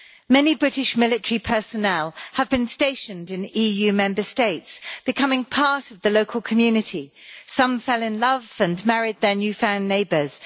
Many British military personnel have been stationed in EU Member States, becoming part of the local community. Some fell in love and married their new found neighbours.